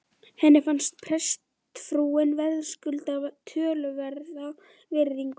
Henni fannst prestsfrúin verðskulda töluverða virðingu.